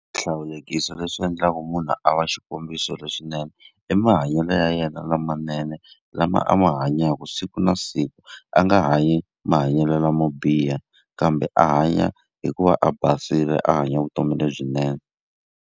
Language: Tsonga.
Swihlawulekisi leswi endlaku munhu a va xikombiso lexinene, i mahanyelo ya yena lamanene lama a ma hanyaka siku na siku. A nga hanyi mahanyelo lamo biha, kambe a hanya hi ku va a basile, a hanya vutomi lebyinene.